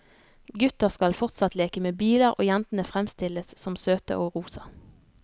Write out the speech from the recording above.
Gutter skal fortsatt leke med biler og jentene fremstilles som søte og rosa.